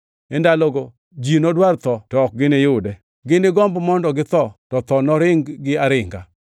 E ndalogo ji nodwar tho, to ok giniyude; ginigomb mondo githo to tho noring-gi aringa.